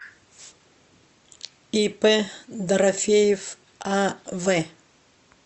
ип дорофеев ав